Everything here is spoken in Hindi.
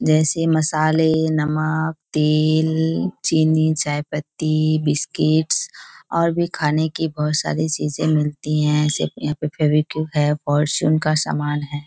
जैसे मसाले नमक तेल चीनी चायपत्ती बिस्किट और भी खाने की बहुत सारी चीजें मिलती हैं। जैसे की यहाँ पे फेवीक्विक है फॉर्चून का समान है।